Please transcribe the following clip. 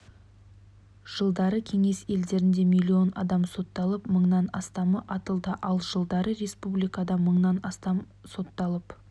жылдары кеңес елдерінде миллион адам сотталып мыңнан астамы атылды ал жылдары республикада мыңнан астам адам сотталып